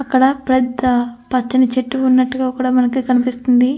అక్కడ పక్కన పచ్చని చెట్టు ఉన్నట్టుగా మనకి కనిపిస్తుంది.